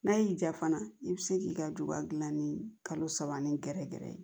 N'a y'i ja fana i bɛ se k'i ka juba gilan ni kalo saba ni gɛrɛgɛrɛ ye